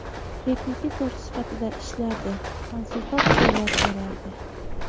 Repetitor sifatida ishlardi, konsultatsiyalar berardi.